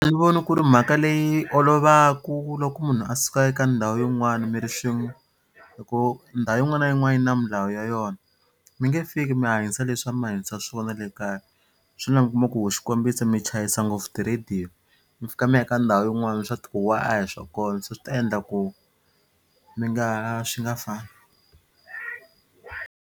A ni voni ku ri mhaka leyi olovaka loko munhu a suka eka ndhawu yin'wana mi ri swin'we hi ku ndhawu yin'wana na yin'wana yi na milawu ya yona. Mi nge fiki mi hanyisa leswi a mi hanyisa swona le kaya swi la mi kuma ku xikombiso mi chayisa ngopfu tiradiyo mi fika mi ya ka ndhawu yin'wana swa tihuwa a hi swa kona se swi ta endla ku mi nga swi nga .